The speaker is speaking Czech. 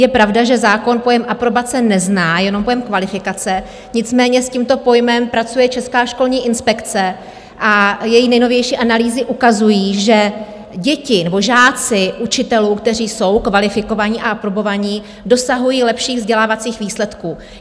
Je pravda, že zákon pojem aprobace nezná, jenom pojem kvalifikace, nicméně s tímto pojmem pracuje Česká školní inspekce a její nejnovější analýzy ukazují, že děti nebo žáci učitelů, kteří jsou kvalifikovaní a aprobovaní, dosahují lepších vzdělávacích výsledků.